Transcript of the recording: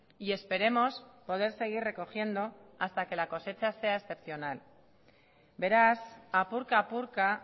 y esperemos poder seguir recogiendo hasta que la cosecha sea excepcional beraz apurka apurka